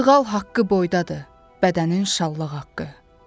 Sığal haqqı boydadır bədənin şallaq haqqı.